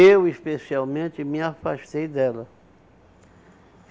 Eu, especialmente, me afastei dela.